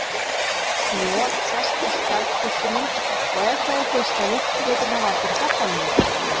Joð sest í skjaldkirtilinn og ef það er geislavirkt getur það valdið krabbameini þar.